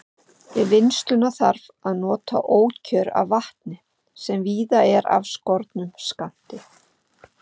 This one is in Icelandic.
Við vinnsluna þarf að nota ókjör af vatni, sem víða er af skornum skammti.